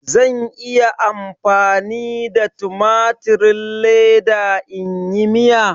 Zan iya amfani da tumatirin leda in yi Miya?